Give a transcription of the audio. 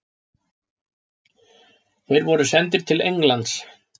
Þeir voru sendir til Englands.